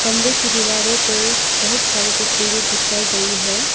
कमरे की दीवारों पर बहुत सारे तस्वीरे चिपकाई गई है।